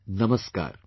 Namaskar